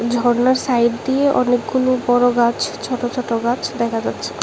ঝরনার সাইড দিয়ে অনেকগুনো বড় গাছ ছোট ছোট গাছ দেখা যাচ্ছে।